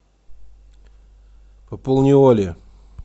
пополни оле